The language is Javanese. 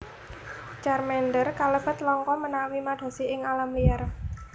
Charmander kalebet langka menawi madosi ing alam liar